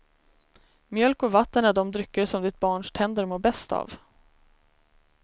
Mjölk och vatten är de drycker som ditt barns tänder mår bäst av.